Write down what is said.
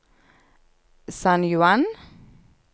San Juan